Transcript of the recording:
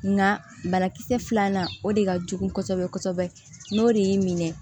Nka banakisɛ filanan o de ka jugu kosɛbɛ kosɛbɛ n'o de y'i minɛ